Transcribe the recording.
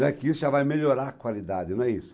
Não é que isso já vai melhorar a qualidade, não é isso.